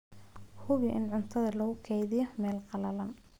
Hubi in cuntada lagu kaydiyo meel qalalan.